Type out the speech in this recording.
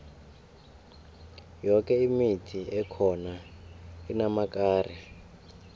yoke imithi ekhona inamakari